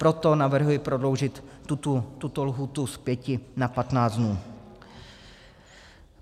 Proto navrhuji prodloužit tuto lhůtu z pěti na patnáct dnů.